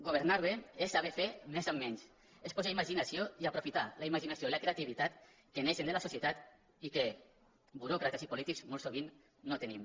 governar bé és saber fer més amb menys és posar imaginació i aprofitar la imaginació i la creativitat que neixen de la societat i que buròcrates i polítics molt sovint no tenim